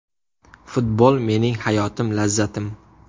Futbol mening hayotim, lazzatim.